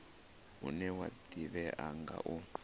une wa ḓivhea nga u